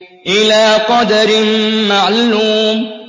إِلَىٰ قَدَرٍ مَّعْلُومٍ